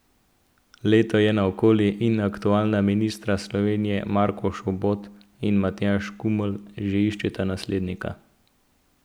Leto je naokoli in aktualna mistra Slovenije Marko Šobot in Matjaž Kumelj že iščeta naslednika.